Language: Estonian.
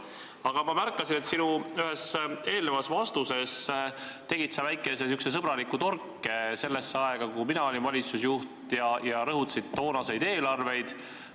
Aga ma märkasin, et ühes vastuses tegid sa väikese sõbraliku torke sellesse aega, kui mina olin valitsusjuht, ja rõhutasid toonaseid eelarveid.